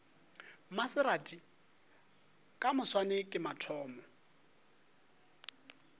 maserati ka moswane ke mathomo